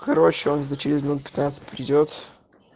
короче он за через минут пятнадцать придёт